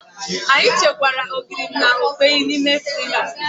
Anyị chekwaa Ogiri na okpeyi na ime friza